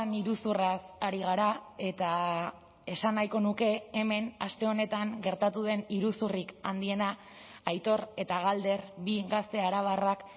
iruzurraz ari gara eta esan nahiko nuke hemen aste honetan gertatu den iruzurrik handiena aitor eta galder bi gazte arabarrak